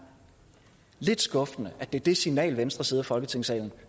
lidt skuffende at det er det signal den venstre side af folketingssalen